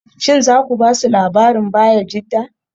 Shin za ku ba su labarin Bayajidda?